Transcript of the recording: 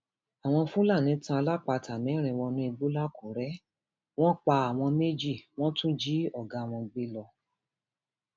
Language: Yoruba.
àwọn fúlàní tan alápatà mẹrin wọnú igbó lakúrẹ wọn pa àwọn méjì wọn tún jí ọgá wọn gbé lọ